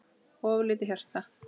of lítið hjarta